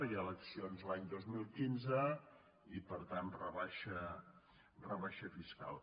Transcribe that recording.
hi ha eleccions l’any dos mil quinze i per tant rebaixa fiscal